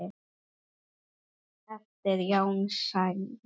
eftir Jón Snædal.